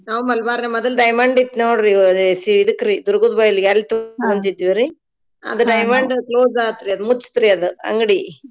ನಾವೂ ಮಲ್ಬಾರ್ನಾಗ್ ಮೊದ್ಲ್ diamond ಇತ್ತ್ ನೋಡ್ರಿ ಸಿ ಇದಕ್ರೀ ದುರ್ಗದ್ ಬೈಲ್ ಅಲ್ ತಗೋಂತೀದ್ವಿರಿ ಅದ್ diamond close ಆತ್ರೀ ಅದ ಮುಚ್ತ್ರೀ ಅದ್ ಅಂಗ್ಡಿ.